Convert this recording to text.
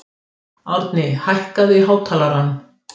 Árni, hækkaðu í hátalaranum.